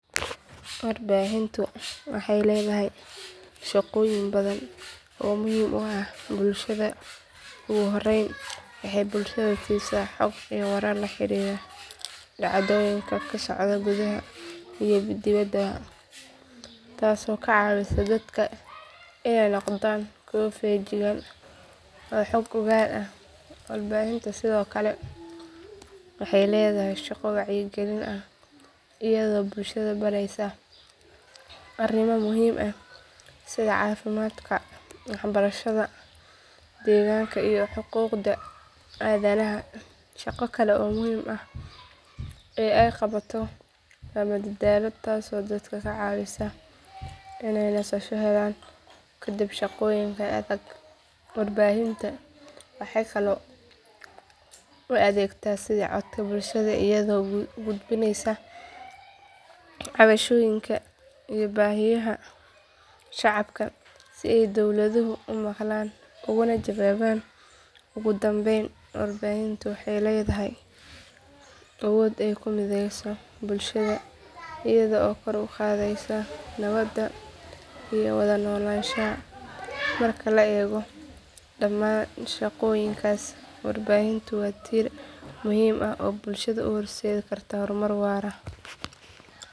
Warbaahintu waxay leedahay shaqooyin badan oo muhiim u ah bulshada ugu horrayn waxay bulshada siisaa xog iyo warar la xiriira dhacdooyinka ka socda gudaha iyo dibadda taasoo ka caawisa dadka inay noqdaan kuwo feejigan oo xog ogaal ah warbaahintu sidoo kale waxay leedahay shaqo wacyigelin ah iyadoo bulshada baraysa arrimo muhiim ah sida caafimaadka waxbarashada deegaanka iyo xuquuqda aadanaha shaqo kale oo muhiim ah ee ay qabato waa madadaalo taasoo dadka ka caawisa inay nasasho helaan kadib shaqooyin adag warbaahintu waxay kaloo u adeegtaa sidii codka bulshada iyadoo gudbinaysa cabashooyinka iyo baahiyaha shacabka si ay dowladuhu u maqlaan ugana jawaabaan ugu dambayn warbaahintu waxay leedahay awood ay ku mideyso bulshada iyada oo kor u qaadaysa nabadda iyo wada noolaanshaha marka la eego dhamaan shaqooyinkaas warbaahintu waa tiir muhiim ah oo bulshada u horseedi karta horumar waara.